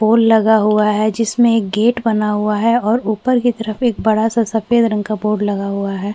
पोल लगा हुआ है जिसमें एक गेट बना हुआ है और ऊपर की तरफ एक बड़ा- सा सफेद रंग का बोर्ड लगा हुआ हैं।